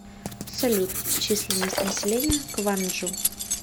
салют численность населения кванджу